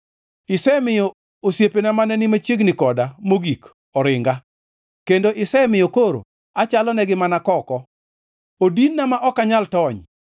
Isemiyo osiepena mane ni machiegni koda mogik oringa, kendo isemiyo koro achalonegi mana koko. Odinna ma ok anyal tony;